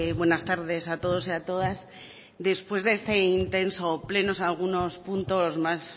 buenas tardes a todos y a todas después de este intenso pleno algunos puntos más